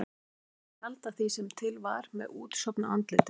Hún hefði viljað tjalda því sem til var með útsofnu andliti.